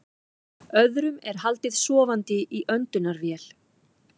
Öðrum er haldið sofandi í öndunarvél